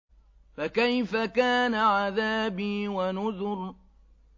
فَكَيْفَ كَانَ عَذَابِي وَنُذُرِ